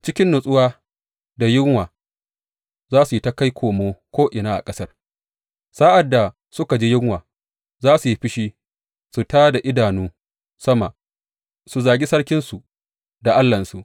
Cikin matsuwa da yunwa, za su yi ta kai komo ko’ina a ƙasar; sa’ad da suka ji yunwa, za su yi fushi su tā da idanu sama, su zagi sarkinsu da Allahnsu.